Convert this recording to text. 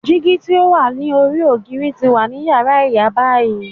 Digi ti o wa lori ogiri ti wa ni yara iya bayi.